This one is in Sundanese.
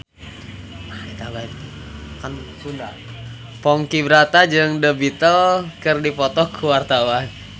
Ponky Brata jeung The Beatles keur dipoto ku wartawan